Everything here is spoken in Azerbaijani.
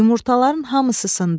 Yumurtaların hamısı sındı.